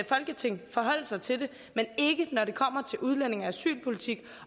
folketinget forholde sig til det men ikke når det kommer til udlændinge og asylpolitikken